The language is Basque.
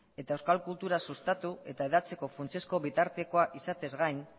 eta euskal kultura sustatu eta hedatzeko funtsezko bitartekoa izateaz gain